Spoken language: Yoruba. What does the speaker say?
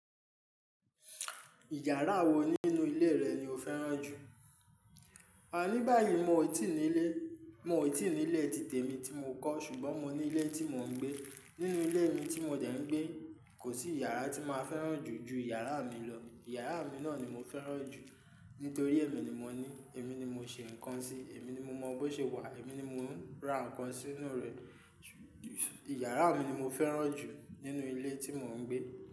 Ìyàrá wo nínú ilé rẹ ni o fẹ́ràn jù? À ní báyìí, mo ò tí ì ní ilé. Mo ò tí ì ní'lé tit'èmi tí mo kọ́ ṣùgbọ́n mo ní ilé tí mò ń gbé. Nínú ilé mi tí mo dẹ́ ń gbé, kò sí yàrá tí máa fẹ́ràn jù ju yàrá mi lọ. Yàrá mi náà ni mo fẹ́ràn jù nítorí èmi ni mo ní, èmi ni mo ṣe ǹkan sí, èmi ni mo mọ̀ bó ṣe wà, èmi ni mo ń ra ǹkan sínú rẹ̀. Yàrá mi ni mo fẹ́ràn jù nínú ilé tí mò ń gbé.